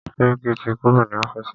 Sẹ́ríkí ti kúrò ní ọ́fìsì.